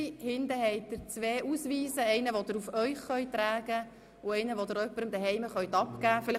Im hinteren Teil finden Sie zwei Ausweise, wobei sie den einen auf sich tragen und den anderen jemandem zu Hause abgeben können.